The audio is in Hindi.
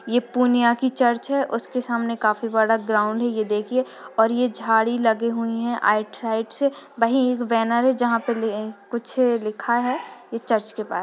ये पूर्णियां की चर्च है उसके सामने काफी बड़ा ग्राउंड है ये देखिये और यह झाड़ी लगे हुए हैं राइट साइड से वहीं एक बैनर है जहाँ पे कुछ लिखा है यह चर्च के पास।